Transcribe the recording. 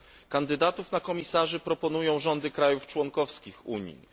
Kandydatów na komisarzy proponują rządy krajów członkowskich Unii.